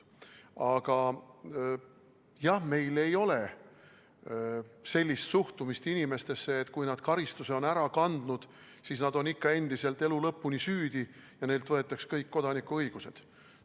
Aga jah, meil ei ole sellist suhtumist inimestesse, et kui nad on karistuse ära kandnud, siis nad on ikka endiselt elu lõpuni süüdi ja neilt võetakse kõik kodanikuõigused.